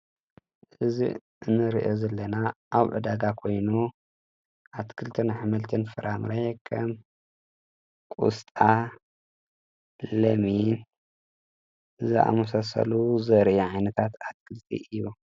እዚ ንሪኦ ዘለና ኣብ ዕዳጋ ኮይኑ ኣትክልትን ኣሕምልትን ፍራምረ ከም ቆስጣ ፣ለሚን ዛኣመሳሰሉ ዘርኢ ዓይነታት ኣትክልቲ እዩ።